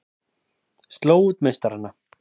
Slógu út meistarana